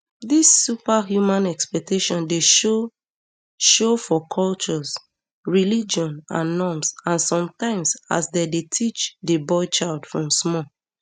dis superhuman expectation dey show show for cultures religion and norms and sometimes as dem dey teach di boy child from small